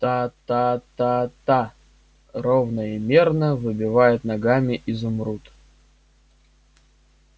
та-та-та-та ровно и мерно выбивает ногами изумруд